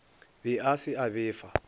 be a se a befa